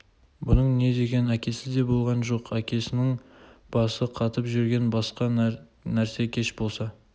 бұның не деген әкесі де болған жоқ әкесінің басы қатып жүргені басқа нәрсе кеш болса